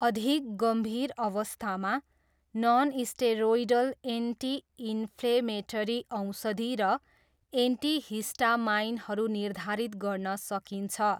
अधिक गम्भीर अवस्थामा, ननस्टेरोइडल एन्टी इन्फ्लेमेटरी औषधि र एन्टिहिस्टामाइनहरू निर्धारित गर्न सकिन्छ।